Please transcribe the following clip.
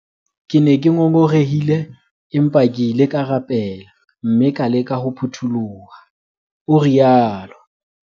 "Ke ne ke ngongorohile, empa ke ile ka rapele mme ka leka ho phuthuloha," o rialo.